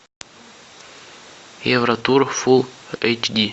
евротур фул эйч ди